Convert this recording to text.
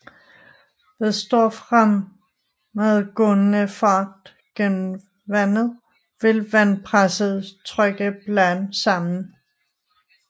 Ved stor fremadgående fart gennem vandet vil vandpresset trykke bladene sammen